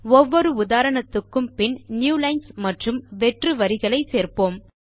ஒவ்வொரு உதாரணத்துக்கும் பின் நியூலைன்ஸ் மற்றும் வெற்று வரிகளை சேர்ப்போம்